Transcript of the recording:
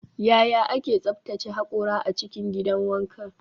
Yaya ake tsaftace hakora a cikin gidan wanka?